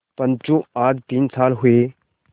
पंचो आज तीन साल हुए